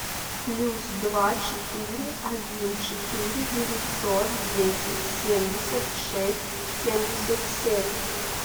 плюс два четыре один четыре девятьсот десять семьдесят шесть семьдесят семь